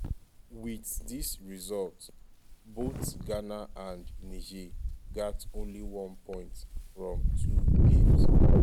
wit dis result both ghana and niger gat only one point from two games.